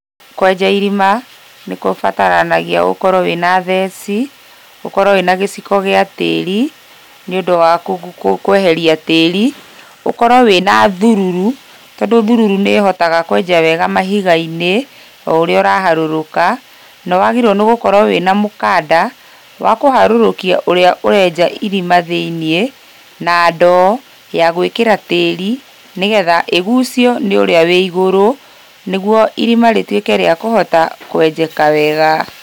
Kwenja irima, nĩgũbataranagia ũkorwo wĩna theci, ũkorwo wĩna gĩciko gĩa tĩri, nĩũndũ wa kweheria tĩri, ũkorwo wĩna thururu, tondũ thururu nĩhotaga kwenja wega mahiga-inĩ o ũrĩa ũraharũrũka, nĩwagĩrĩirwo gũkorwo wĩna mũkanda, wa kũharũrũkia ũrĩa ũrenja irima thĩiniĩ na ndoo, ya gwĩkĩra tĩri, nĩgetha ĩgucio nĩ ũrĩa wĩ igũru, nĩguo irima rĩtuĩke rĩa kũhota kwenjeka wega.